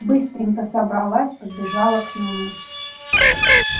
быстренько собралась побежала к нему